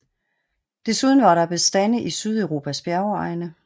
Desuden var der bestande i Sydeuropas bjergegne